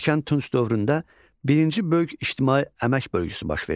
Erkən Tunc dövründə birinci böyük ictimai əmək bölgüsü baş verdi.